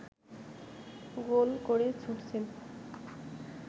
গোল করে ছুটছেন